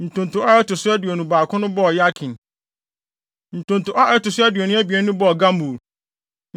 Ntonto a ɛto so aduonu baako no bɔɔ Yakin. Ntonto a ɛto so aduonu abien no bɔɔ Gamul.